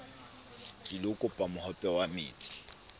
tlilo kopa mohope wa metsi